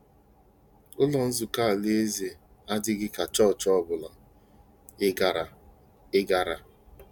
Ụlọ Nzukọ Alaeze adịghị ka chọọchị ọ bụla ị gara. ị gara.